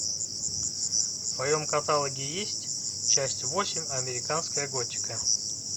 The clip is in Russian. в твоем каталоге есть часть восемь американская готика